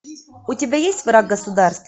у тебя есть враг государства